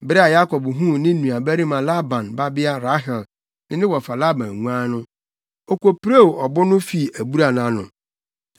Bere a Yakob huu ne na nuabarima Laban babea Rahel ne ne wɔfa Laban nguan no, okopirew ɔbo no fii abura no ano. Afei, wɔmaa nguan no nsu nomee.